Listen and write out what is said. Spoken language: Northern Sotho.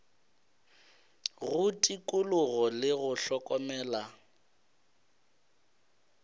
go tikologo le go hlokomela